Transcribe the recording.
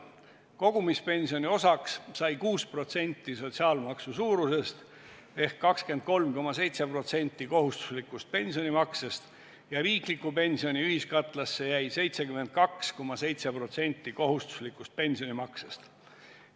Kogumispensioni osaks sai 6% sotsiaalmaksu suurusest ehk 23,7% kohustuslikust pensionimaksest ja riikliku pensioni ühiskatlasse jäi 72,7% kohustuslikust pensionimaksest.